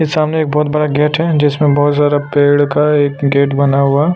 ये सामने एक बहोत बड़ा गेट है जिसमें बहोत सारा पेड़ का एक गेट बना हुआ--